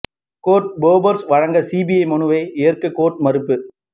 court Bofors வழக்கு CBI மனுவை ஏற்க கோர்ட் மறுப்பு